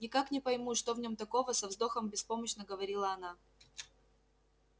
никак не пойму что в нём такого со вздохом беспомощно говорила она